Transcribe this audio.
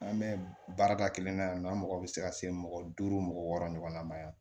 An bɛ baarada kelen na yan nɔ an mago bɛ se ka se mɔgɔ duuru mɔgɔ wɔɔrɔ ɲɔgɔnna ma